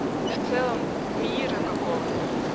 в целом мире какого-то